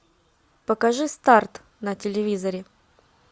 покажи старт на телевизоре